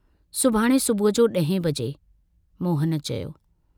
सुभाणे सुबह जो 10 बजे...।